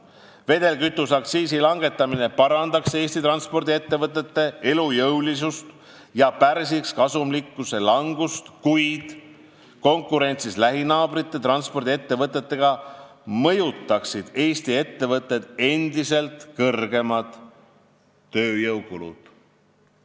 Vedelkütuse aktsiisi langetamine parandaks Eesti transpordiettevõtete elujõulisust ja pärsiks kasumlikkuse langust, kuid konkurentsis lähinaabrite transpordiettevõtetega mõjutaksid Eesti ettevõtteid endiselt kõrgemad tööjõukulud.